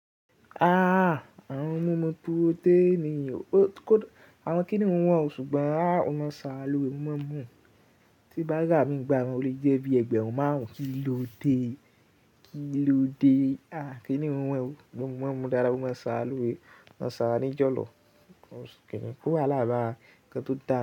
Ah! Àwọn ohun mi mu túró té èníyàn. Àwọn kíni ohun wọ̀n, ṣùgbọ́n a ò mọ̀ sára lọrẹ. O máa ń dun. Tí bá ra mí n gba mi o lè jẹ́ bí ẹgbẹ́run marun kì í lódé, kì í lódé. Ah! Kíni ohun wọ̀n? Sugbon mo máa ń mu dáadáa, ó máa ń sáa ra lore, ó ń sá ra ní ìjọ̀lọ̀. Kíni kó wahala ba inkan tó dà.